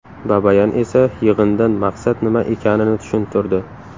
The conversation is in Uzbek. Babayan esa yig‘indan maqsad nima ekanini tushuntirdi.